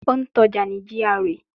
Ó ń ta ọjà ní GRA